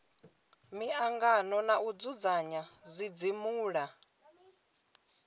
miangano na u dzudzanya zwidzimula